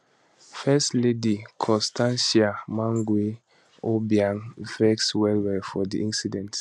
first lady constancia mangue obiang vex well well for di incident